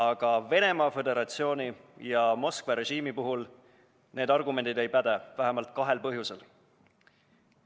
Aga Venemaa Föderatsiooni ja Moskva režiimi puhul need argumendid ei päde vähemalt kahel põhjusel.